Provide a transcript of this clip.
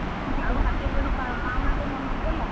ହଁହଁ ଆଉ ହାତଗଣ୍ଠି ପାଉଣା ତୋ ମନକୁ ଗଲା?